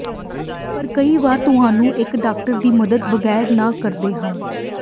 ਪਰ ਕਈ ਵਾਰ ਤੁਹਾਨੂੰ ਇੱਕ ਡਾਕਟਰ ਦੀ ਮਦਦ ਬਗੈਰ ਨਾ ਕਰਦੇ ਹਨ